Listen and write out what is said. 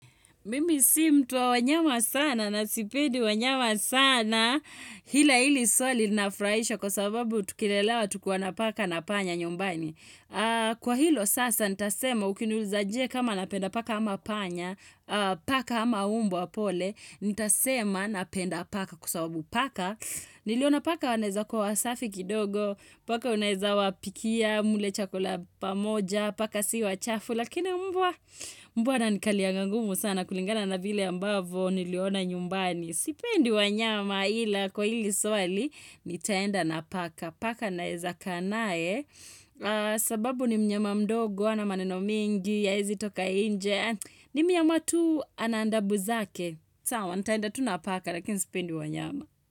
Mimi si mtu wa wanyama sana na sipendi wanyama sana ila hili swali linafurahisha kwa sababu tukilelewa tulikuwa na paka na panya nyumbani. Kwa hilo sasa nitasema ukiniuliza je kama napenda paka ama panya, paka ama umbwa pole, nitasema napenda paka kwa sababu paka. Niliona paka wanaeza kuwa wasafi kidogo Paka waneza wapikia mle chakula pamoja Paka si wachafu Lakini mbwa mbwa ananikalianga ngumu sana kulingana na vile ambavyo niliona nyumbani Sipendi wanyama ila kwa hili swali nitaenda na paka Paka naeza kaa naye sababu ni mnyama mdogo hana maneno mingi haezi toka nje ni mnyama tu ana adabu zake sawa nitaenda tu na paka lakini sipendi wanyama.